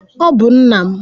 Ọ bụ nna m.